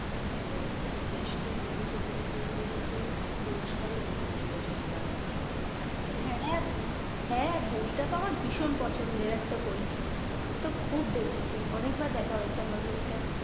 এবং শেষ্ঠ পুরুষ অভিনেতা হিসাবে কিন্তু পুরস্কার জিতেছিল সেই বার জানো কি? হ্যাঁ বই টা তো আমার ভীষণ পছন্দের একটা বই, আমি তো খুব দেখেছি, অনেক বার দেখা হয়েছে আমার বইটা ।